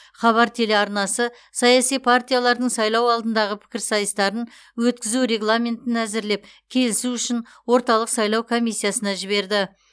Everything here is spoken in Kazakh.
хабар телеарнасы саяси партиялардың сайлау алдындағы пікірсайыстарын өткізу регламентін әзірлеп келісу үшін орталық сайлау комиссиясына жіберді